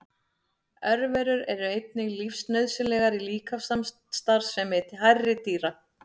Örverur eru einnig lífsnauðsynlegar í líkamsstarfsemi hærri dýra.